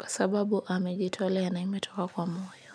kwa sababu amejitolea na imetoka kwa moyo.